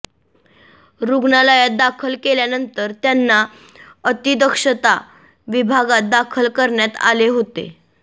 रुग्णालयात दाखल केल्यानंतर त्यांना अतिदक्षता विभागात दाखल करण्यात आले होते